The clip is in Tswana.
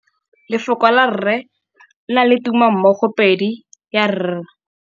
Lefoko la rre le na le tumammogôpedi ya, r.